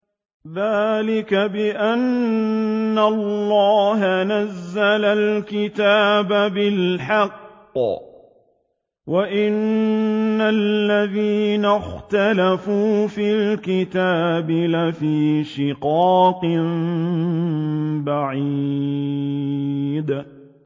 ذَٰلِكَ بِأَنَّ اللَّهَ نَزَّلَ الْكِتَابَ بِالْحَقِّ ۗ وَإِنَّ الَّذِينَ اخْتَلَفُوا فِي الْكِتَابِ لَفِي شِقَاقٍ بَعِيدٍ